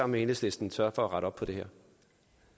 med enhedslisten sørge for at rette op på det